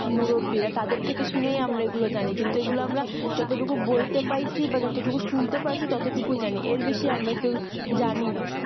মুরব্বীরা তাদের থেকে শুনেই আমরা এইগুলো জানি কিন্তু এইগুলো আমরা যতটুকু বইতে পাইছি বা যতটুকু শুনতে পারছি ততটুকুই জানি এর বেশি আমরা কেউ জানিনা